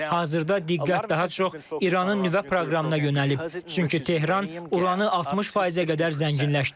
Hazırda diqqət daha çox İranın nüvə proqramına yönəlib, çünki Tehran uranı 60%-ə qədər zənginləşdirir.